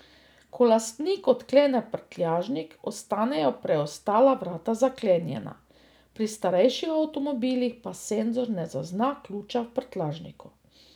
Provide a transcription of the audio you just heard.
Ko lastnik odklene prtljažnik, ostanejo preostala vrata zaklenjena, pri starejših avtomobilih pa senzor ne zazna ključa v prtljažniku.